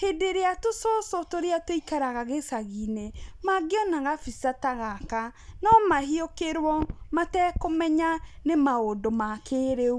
hĩndĩ ĩríĩ tũcũcũ tũrĩa tũikaraga gĩcagi-inĩ mangĩona gabica ta gaka no mahiũkĩrwo, matekũmenya nĩ maũndũ ma kĩrĩu.